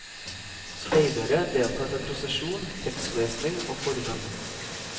Speidere deltar med prosesjon, tekstlesning og forbønn.